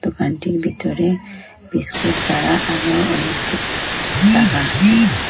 দোকানটির ভিতরে বিস্কুট ছাড়া আরও অনেক কিছু রাখা আছে।